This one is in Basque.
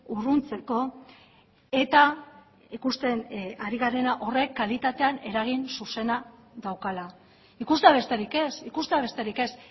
urruntzeko eta ikusten ari garena horrek kalitatean eragin zuzena daukala ikustea besterik ez ikustea besterik ez